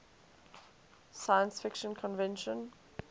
science fiction convention